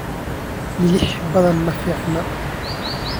milix badan ma fiicna.